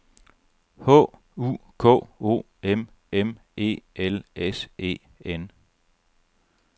H U K O M M E L S E N